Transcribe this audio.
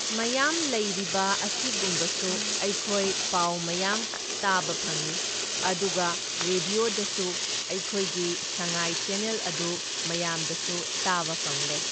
ꯃꯌꯥꯝ ꯂꯩꯔꯤꯕ ꯑꯁꯤꯒꯨꯝꯕꯁꯨ ꯑꯩꯈꯣꯏ ꯄꯥꯎ ꯃꯌꯥꯝ ꯇꯥꯕ ꯐꯪꯢ, ꯑꯗꯨꯒ ꯔꯦꯗꯤꯌꯣꯗꯁꯨ ꯑꯩꯈꯣꯏꯒꯤ ꯁꯪꯉꯥꯏ ꯆꯦꯅꯦꯜ ꯑꯗꯨ ꯃꯌꯥꯝꯗꯁꯨ ꯇꯥꯕ ꯐꯪꯂꯦ꯫